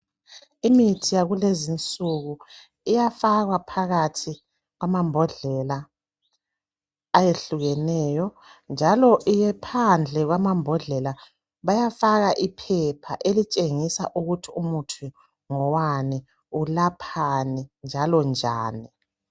Imithi yakulezinsuku iyafakwa phakathi kwamambodlela eyehlukeneyo njalo phandle kwamambodlela bayafaka iphepha elitshengisa ukuthi umuthi ngowani, ulaphani njalo njani